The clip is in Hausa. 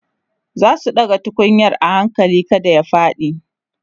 zasu ɗaga tukunyar a hakali kada ya faɗi